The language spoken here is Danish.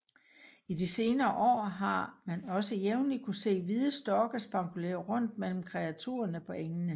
I de senere år har man også jævnlig kunnet se hvide storke spankulere rundt mellem kreaturerne på engene